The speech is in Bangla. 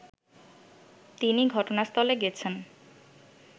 তিনি ঘটনাস্থলে গেছেন